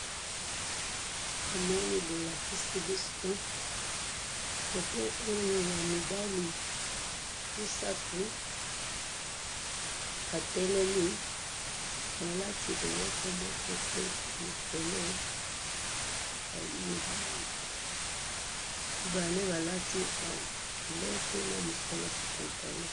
Namoni bolakisi biso foto oyo ya mibali misatu batelemi balati eloko telikolo mibale balati culote na mosusu alati pantalon.